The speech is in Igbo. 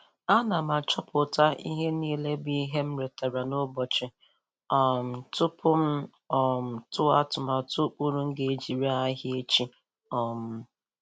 Ana m achọpụta ihe n'ile bụ ihe m retara n'ụbọchi um tupu.m um tụọ atụmatụ ụkpụrụ m ga-eji ree ahịa echi. um